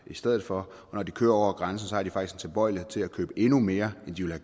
i stedet for og når de kører over grænsen har de faktisk en tilbøjelighed til at købe endnu mere end de ville